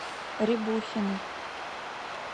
рябухиной